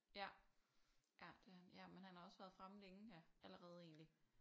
Ja ja det er han ja men han har også været fremme længe ja allerede egentlig